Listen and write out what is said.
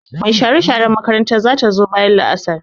Mai share-sharen makaranta za ta zo bayan la'asar.